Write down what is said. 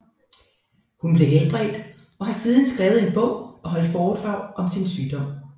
Hun blev helbredt og har siden skrevet en bog og holdt foredrag om sin sygdom